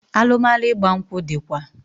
Alụmalụ ịgba nkwụ dịkwa